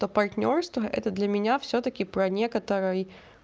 то партнёрство это для меня всё-таки про некоторый